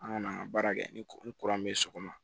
An kɔni an ka baara kɛ ni kuran bɛ so kɔnɔ